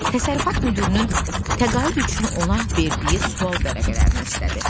Təsərrüfat müdirinin təqaüd üçün ona verdiyi sual vərəqələrini istədi.